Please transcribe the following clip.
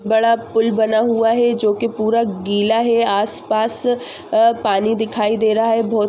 pool बना हुआ है जो की पूरा गिला है आस पास पानी दिखाई दे रहा है बहुत --